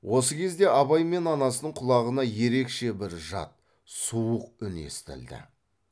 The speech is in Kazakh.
осы кезде абай мен анасының құлағына ерекше бір жат суық үн естілді